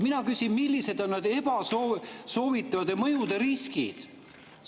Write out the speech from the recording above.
Mina küsin: millised on need ebasoovitavate mõjude riskid?